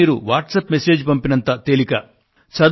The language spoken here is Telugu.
ఈ పని మీరు వాట్సప్ WhatsApp మెసేజ్ లు పంపినంత తేలిక